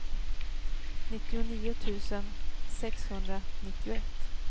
nittionio tusen sexhundranittioett